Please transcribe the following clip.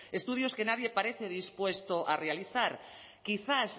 estudios que nadie parece dispuesto a realizar quizás